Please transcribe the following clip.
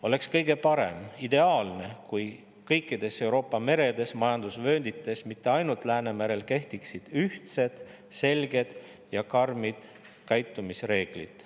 Oleks kõige parem, ideaalne, kui kõikides Euroopa meredes ja majandusvööndites, mitte ainult Läänemerel kehtiksid ühtsed, selged ja karmid käitumisreeglid.